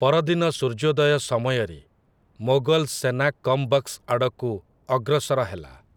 ପରଦିନ ସୂର୍ଯ୍ୟୋଦୟ ସମୟରେ, ମୋଗଲ ସେନା କମ୍ ବଖ୍‌ଶ ଆଡ଼କୁ ଅଗ୍ରସର ହେଲା ।